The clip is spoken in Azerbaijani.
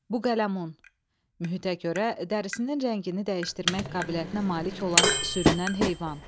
Buqələmun, mühitə görə dərisinin rəngini dəyişdirmək qabiliyyətinə malik olan sürünən heyvan.